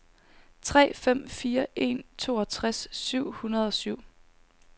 tre fem fire en toogtres syv hundrede og syv